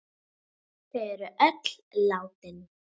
Þau er öll látin.